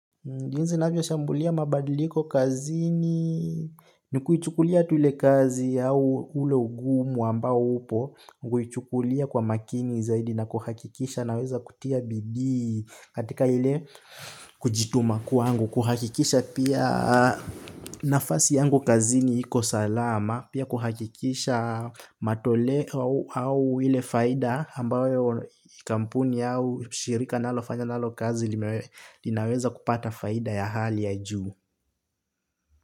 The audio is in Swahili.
Jinsi navyoshambulia mabadiliko kazini ni kuichukulia tu ile kazi au ule ugumu ambao upo. Kuichukulia kwa makini zaidi na kuhakikisha naweza kutia bidii katika ile kujituma kwangu. Kuhakikisha pia nafasi yangu kazini iko salama pia kuhakikisha matoleo au ile faida ambayo kampuni au shirika nalofanya nalo kazi linaweza kupata faida ya hali ya juu.